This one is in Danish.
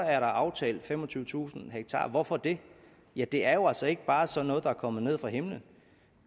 er aftalt femogtyvetusind ha hvorfor det ja det er jo altså ikke bare sådan noget der er kommet ned fra himlen